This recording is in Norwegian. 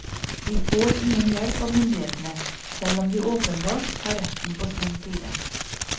De får ingen hjelp av myndighetene, selv om de åpenbart har retten på sin side.